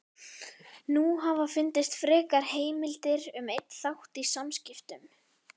Nú hafa fundist frekari heimildir um einn þátt í samskiptum